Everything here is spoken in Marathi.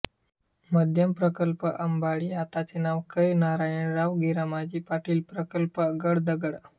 मध्यम प्रकल्प अंबाडी आताचे नाव कै नारायणराव गीरामाजी पाटील प्रकल्प गडदगड